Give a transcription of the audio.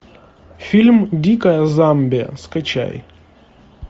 фильм дикая замбия скачай